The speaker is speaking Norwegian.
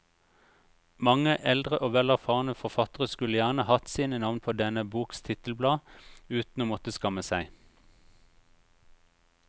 Mange eldre og vel erfarne forfattere kunne gjerne hatt sine navn på denne boks titelblad uten å måtte skamme seg.